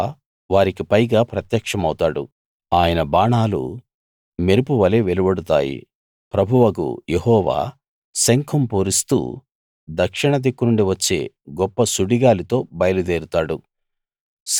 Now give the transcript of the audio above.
యెహోవా వారికి పైగా ప్రత్యక్షమౌతాడు ఆయన బాణాలు మెరుపువలె వెలువడుతాయి ప్రభువగు యెహోవా శంఖం పూరిస్తూ దక్షిణ దిక్కునుండి వచ్చే గొప్ప సుడిగాలితో బయలు దేరుతాడు